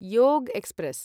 योग एक्स्प्रेस्